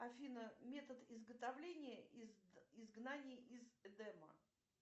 афина метод изготовления изгнания из эдема